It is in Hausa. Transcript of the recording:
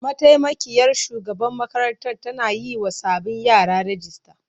Mataimakiyar shugaban makarantar tana yiwa sabbin yara rijista.